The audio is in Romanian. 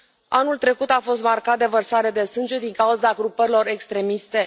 Anul trecut a fost marcat de vărsare de sânge din cauza grupărilor extremiste.